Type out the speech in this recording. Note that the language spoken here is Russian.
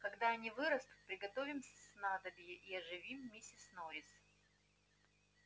когда они вырастут приготовим снадобье и оживим миссис норрис